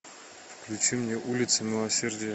включи мне улица милосердия